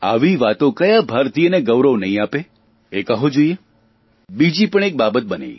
આવી વાતોથી ક્યા ભારતીયને ગૌરવ નહીં આપે એ કહો જોઇએ બીજી પણ એક બાબત બની